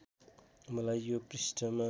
मलाई यो पृष्ठमा